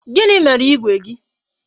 Gịnị mere igwe gị?